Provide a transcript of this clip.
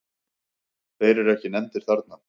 Þeir eru ekki nefndir þarna.